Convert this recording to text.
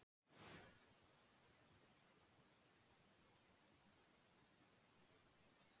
Fyrri hugmyndin virðist raunar svo sjálfsögð að engum skyldi detta í hug að hafna henni.